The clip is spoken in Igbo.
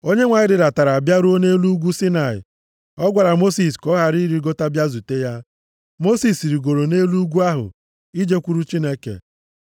Onyenwe anyị rịdatara bịaruo nʼelu ugwu Saịnaị. Ọ gwara Mosis ka ọ rịgota bịa zute ya. Mosis rigoro nʼelu ugwu ahụ ijekwuru Chineke.